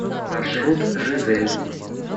маршрут жизель